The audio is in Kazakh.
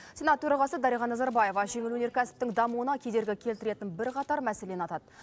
сенат төрағасы дариға назарбаева жеңіл өнеркәсіптің дамуына кедергі келтіретін бірқатар мәселені атады